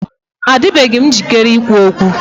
Adịbeghị m njikere ikwu okwu.